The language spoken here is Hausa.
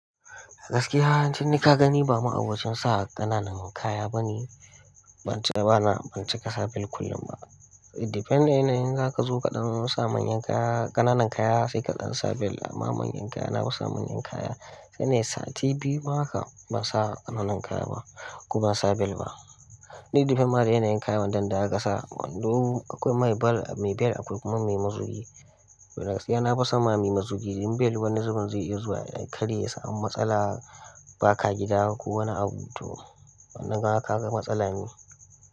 Gaskiya, tun nikagani ba ma abocin sa ƙananan kaya bane. Ban ci, bana, ban cikasa bel kullum ba. It depend yana yin za ka zo kaɗan sa manyan kaya, ƙananan kaya saika ɗan sa bel amma manyan kaya na fisa manyan kaya. Sai nayi sati biyu ma kam, ban sa ƙananan kaya ba kuma ban sa bel ba. Ni depend mada yana yin kayan wadandan zaka sa wando akwai mai bel, mai bel akwai kuma mai mazugi. Gaskiya na fasa ma mai mazugi, rim bel wani zubin zai iya zuwa ya karye ya samu matsala ba ka gida ko wani abu to wannan kaga ka ga matsala ne.